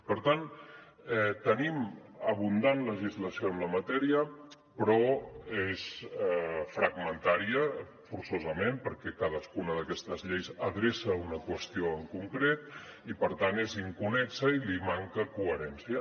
per tant tenim abundant legislació en la matèria però és fragmentària forçosament perquè cadascuna d’aquestes lleis adreça una qüestió en concret i per tant és inconnexa i li manca coherència